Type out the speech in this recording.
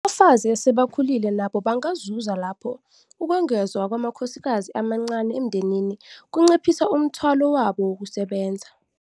Abafazi asebekhulile nabo bangazuza lapho ukwengezwa kwamakhosikazi amancane emndenini kunciphisa umthwalo wabo wokusebenza.